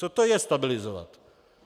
Co to je - stabilizovat?